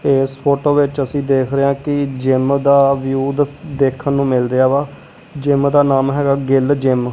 ਤੇ ਇਸ ਫੋਟੋ ਵਿੱਚ ਅਸੀਂ ਦੇਖ ਰਹੇ ਆ ਕਿ ਜਿਮ ਦਾ ਵਿਊ ਦੇਖਣ ਨੂੰ ਮਿਲ ਰਿਹਾ ਵਾ ਜਿਮ ਦਾ ਨਾਮ ਹੈਗਾ ਗਿੱਲ ਜਿਮ ।